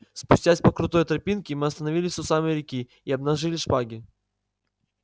спустясь по крутой тропинке мы остановились у самой реки и обнажили шпаги